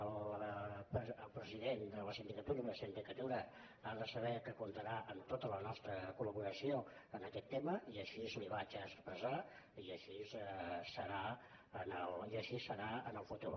el president de la sindicatura i la sindicatura han de saber que comptaran amb tota la nostra colaquest tema i així li ho vaig expressar i així serà en el futur